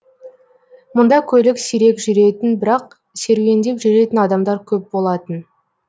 мұнда көлік сирек жүретін бірақ серуендеп жүретін адамдар көп болатын